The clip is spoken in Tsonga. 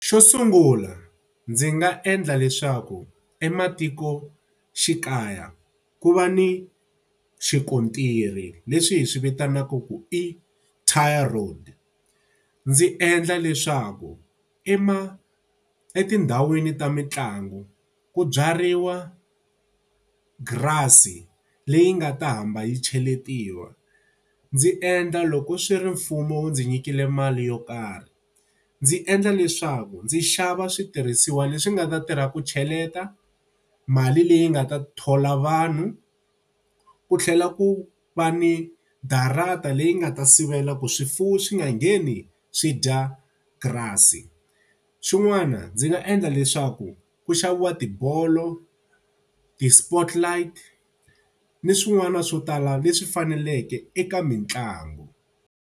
Xo sungula ndzi nga endla leswaku ematikoxikaya ku va ni xikontiri leswi hi swi vitanaka ku i tar road. Ndzi endla leswaku etindhawini ta mitlangu ku byariwa grass-i leyi nga ta hamba yi cheletiwa. Ndzi endla loko swi ri mfumo ndzi nyikile mali yo karhi, ndzi endla leswaku ndzi xava switirhisiwa leswi nga ta tirha ku cheleta, mali leyi nga ta thola vanhu, ku tlhela ku va ni darata leyi nga ta sivela ku swifuwo swi nga ngheni swi dya grass-i. Xin'wana ndzi nga endla leswaku ku xaviwa tibolo, ti-spot light, ni swin'wana swo tala leswi faneleke eka mitlangu.